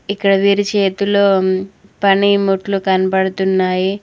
ఇక్కడ వీరి చేతులో పని మూట్లు కనబడుతున్నాయి.